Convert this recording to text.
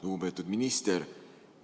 Lugupeetud minister!